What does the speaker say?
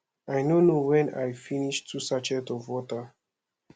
i no know wen i finish two sachet of water